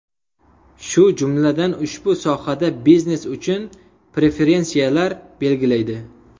Shu jumladan ushbu sohada biznes uchun preferensiyalar belgilaydi.